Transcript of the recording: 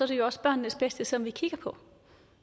det også børnenes bedste som vi kigger på